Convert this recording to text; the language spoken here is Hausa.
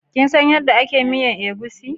Kinsan yadda ake miyan egusi?